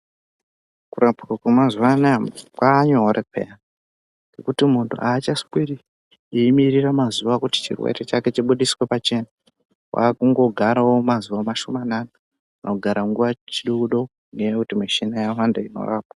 Kurapwa wemazuana musi kwanyore peya ngekuti muntu achasweri eimirirs mazuwa kuti chirwere chake chibudiswe pachena wakungogarawo mazuwa mashomanana kana kugara nguwa chidokodoko ngenya yekuti muchina yawanda inorapa.